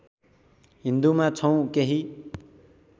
हिन्दूमा छौँ केही